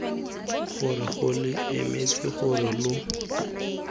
gore lo emetse gore lo